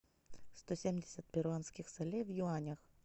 сто семьдесят перуанских солей в юанях